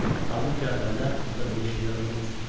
Halbuki əvvəllər onda belə şeylər olmazdı.